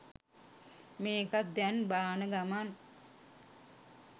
මේකත් දැන් බාන ගමන්